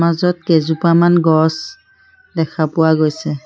মাজত কেইজোপামান গছ দেখা পোৱা গৈছে।